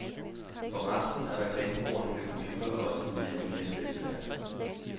For resten af reklamebureauerne bliver computere også et mere og mere nødvendigt værktøj.